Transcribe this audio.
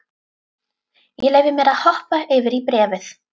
Ég leyfi mér að hoppa yfir í bréfið.